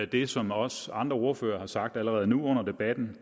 det som også andre ordførere har sagt allerede nu under debatten